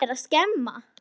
Mamma litla, sagði ég.